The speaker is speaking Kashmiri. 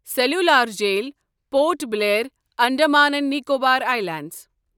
cellular Jail Port Blair, Andaman and Nicobar islands